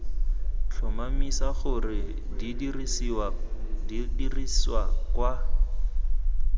tlhomamisa gore di dirisiwa ka